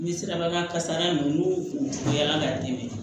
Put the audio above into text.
N'i sera bakan kasara ninnu u bɛ yala ka dimi